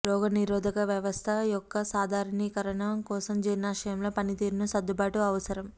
రోగనిరోధక వ్యవస్థ యొక్క సాధారణీకరణ కోసం జీర్ణాశయంలో పనితీరును సర్దుబాటు అవసరం